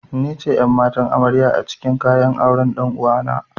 Nice ƴan'matan amarya acikin kayan auren ɗan'uwana.